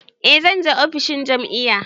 Eh zan je ofishin jam'iyya.